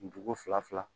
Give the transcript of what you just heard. Dugu fila fila